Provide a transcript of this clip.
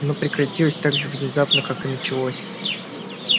оно прекратилось так же внезапно как и началось